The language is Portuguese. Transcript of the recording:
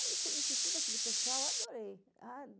Aí conheci todo aquele pessoal, adorei.